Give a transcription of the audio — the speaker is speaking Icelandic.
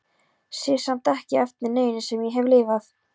Sé samt ekki eftir neinu sem ég hef lifað.